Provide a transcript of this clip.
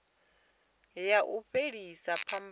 ya u fhelisa phambano i